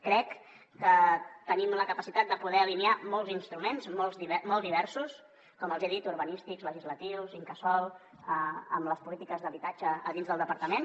crec que tenim la capacitat de poder alinear molts instruments molt diversos com els hi he dit urbanístics legislatius incasòl amb les polítiques d’habitatge a dins del departament